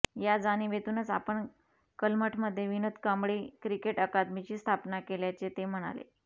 या जाणीवेतूनच आपण कलमठमध्ये विनोद कांबळी क्रिकेट अकादमीची स्थापना केल्याचे ते म्हणाले